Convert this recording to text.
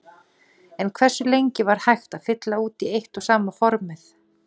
En hversu lengi var hægt að fylla út í eitt og sama formið?